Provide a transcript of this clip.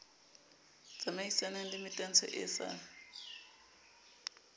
tsamaisanang le metantsho e sa